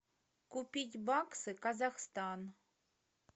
купить баксы казахстан